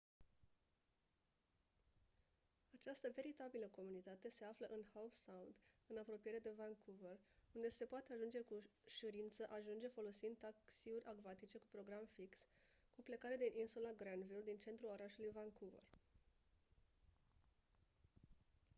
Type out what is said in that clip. această veritabilă comunitate se află în howe sound în apropiere de vancouver unde se poate cu ușurință ajunge folosind taxiuri acvatice cu program fix cu plecare din insula granville din centrul orașului vancouver